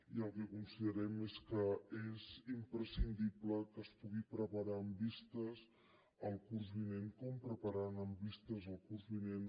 i el que considerem és que és imprescindible que es pugui preparar amb vista al curs vinent com prepararan amb vista al curs vinent